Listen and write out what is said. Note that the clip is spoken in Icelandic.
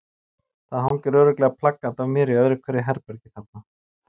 Það hangir örugglega plakat af mér í öðru hverju herbergi þarna.